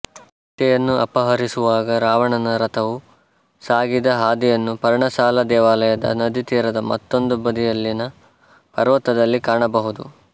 ಸೀತೆಯನ್ನು ಅಪಹರಿಸುವಾಗ ರಾವಣನ ರಥವು ಸಾಗಿದ ಹಾದಿಯನ್ನು ಪರ್ಣಶಾಲಾ ದೇವಾಲಯದ ನದಿ ತೀರದ ಮತ್ತೊಂದು ಬದಿಯಲ್ಲಿನ ಪರ್ವತದಲ್ಲಿ ಕಾಣಬಹುದು